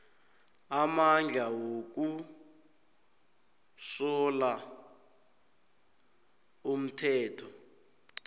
amandla wokusola umthetho